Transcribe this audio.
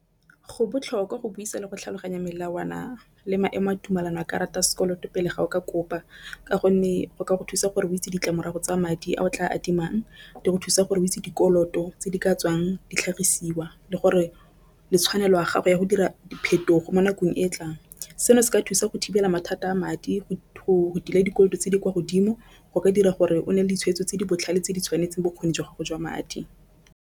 Go botlhokwa go buisa le go tlhaloganya melawana le maemo a tumelano ya karata ya sekoloto pele ga o kopa, ka gonne go ka go thusa gore o itse ditlamorago tsa madi a o tla adimang. Di go thusa gore o itse dikoloto tse di ka tswang ditlhagisiwa le gore le tshwanelo ya gago ya go dira diphetogo mo nakong e e tlang. Seno se ka thusa go thibela mathata a madi go duela dikoloto tse di kwa godimo go ka dira gore o ne ditshwetso tse di botlhale tse di tshwanetseng bokgoni jwa gago jwa madi.